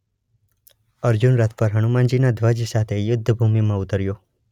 અર્જુન રથ પર હનુમાનજીના ધ્વજ સાથે યુદ્ધ ભૂમિમાં ઉતર્યો.